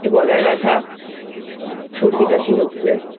একটু গলায় ব্যথা সর্দিকাশি হচ্ছে